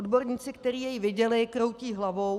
Odborníci, který jej viděli, kroutí hlavou.